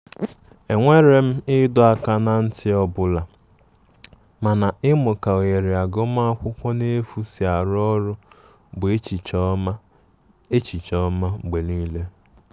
E nwere m ịdọ aka na nti ọbụla mana imu ka ohere agụma akwụkwo n'efu si arụ ọrụ bụ echiche oma echiche oma mgbe nile.